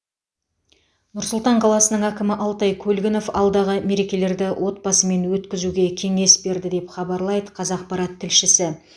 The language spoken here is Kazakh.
нұр сұлтан қаласының әкімі алтай көлгінов алдағы мерекелерді отбасымен өткізуге кеңес берді деп хабарлайды қазақпарат тілшісі